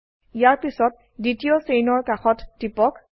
ইয়াৰ পিছত দ্বিতীয় চেইনৰ কাষত টিপক